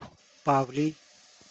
павлий